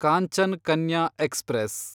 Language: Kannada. ಕಾಂಚನ್ ಕನ್ಯಾ ಎಕ್ಸ್‌ಪ್ರೆಸ್